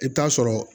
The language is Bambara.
I bɛ taa sɔrɔ